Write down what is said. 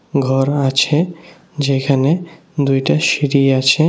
ঘর আছে যেখানে দুইটা সিঁড়ি আছে।